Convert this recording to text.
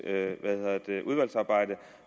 udvalgsarbejde